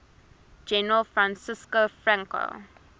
general francisco franco